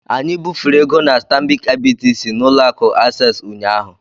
Anyị bufere ego na Stanbic IBTC na Ụlọ akụ Access ụnyahụ